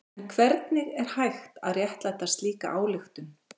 En hvernig er hægt að réttlæta slíka ályktun?